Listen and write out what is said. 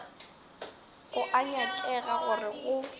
go a nyakega gore go